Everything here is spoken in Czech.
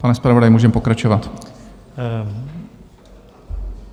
Pane zpravodaji, můžeme pokračovat.